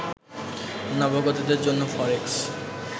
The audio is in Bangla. নবাগতদের জন্য ফরেক্স